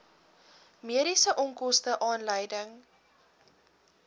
mediese onkoste aanleiding